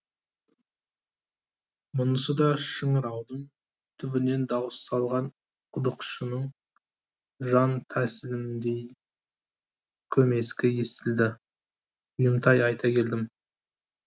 мұнысы да шыңыраудың түбінен дауыс салған құдықшының жантәсіліміндей көмескі естілді бұйымтай айта келдім